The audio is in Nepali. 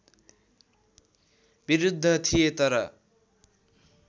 विरुद्ध थिए तर